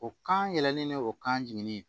O kan yɛlɛlen don kan jiginni